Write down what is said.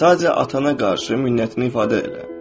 Sadəcə atana qarşı minnətini ifadə elə.